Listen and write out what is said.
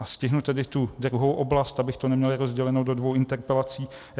A stihnu tedy tu druhou oblast, abych to neměl rozděleno do dvou interpelací.